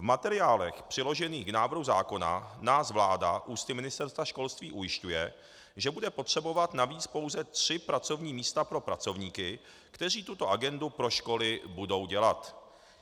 V materiálech přiložených k návrhu zákona nás vláda ústy Ministerstva školství ujišťuje, že bude potřebovat navíc pouze tři pracovní místa pro pracovníky, kteří tuto agendu pro školy budou dělat.